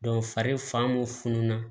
fari fan mun fununa